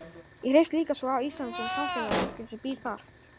Ég hreifst líka svo af Íslandi sem samfélagi og fólkinu sem býr þar.